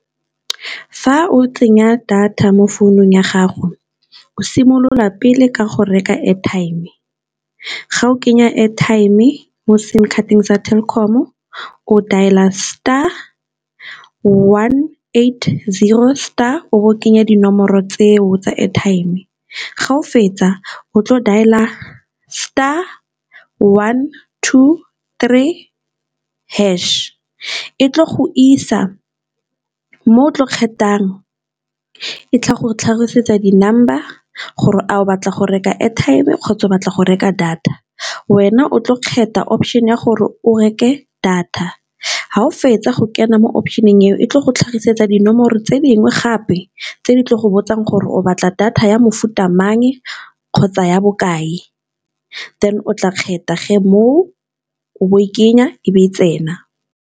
Fa o tsenya data mo founung ya gago o simolola pele ka go reka airtime, ga o kenya airtime mo sim card-teng sa Telkom-o o dailer star one eight zero star o bo o kenya dinomoro tseo tsa airtime, ga o fetsa o tlo dlala star one two three hash e tlo go isa mo o tlo kgethang, e tla go tlhagisetsa d number gore a o batla go reka airtime kgotsa batla go reka data wena o tlo kgetha option ya gore o reke data, fa o fetsa go kena mo option-eng eo e tlo go tlhagisetsa dinomoro tse dingwe gape tse di tle go botsang gore o batla data ya mofuta mang kgotsa ya bokae, then o tla kgetha ge moo o bo o e kenya e be e tsena.